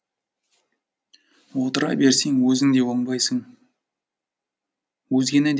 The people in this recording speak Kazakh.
отыра берсең өзің де оңбайсың